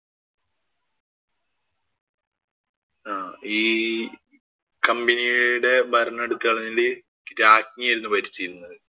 ആഹ് company യുടെ ഭരണം എടുത്ത് കളഞ്ഞിട്ട് രാജ്ഞി ആയിരുന്നു ഭരിച്ചിരുന്നത്.